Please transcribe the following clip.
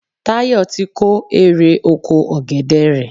Táyọ̀ ti kó erè oko ọ̀gẹ̀dè rẹ̀.